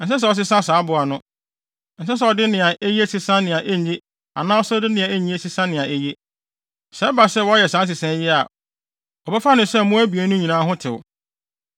Ɛnsɛ sɛ ɔsesa saa aboa no. Ɛnsɛ sɛ ɔde nea eye sesa nea enye anaa sɛ ɔde nea enye sesa nea eye. Sɛ ɛba sɛ wɔyɛ saa nsesae yi a, wɔbɛfa no sɛ mmoa abien no nyinaa ho tew.